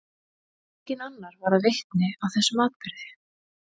Enginn annar varð vitni að þessum atburði.